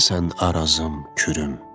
Sənsən Arazım, Kürüm.